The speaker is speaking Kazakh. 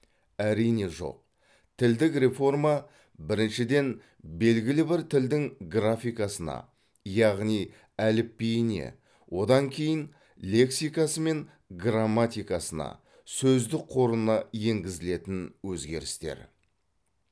әрине жоқ тілдік реформа біріншіден белгілі бір тілдің графикасына яғни әліпбиіне одан кейін лексикасы мен грамматикасына сөздік қорына енгізілетін өзгерістер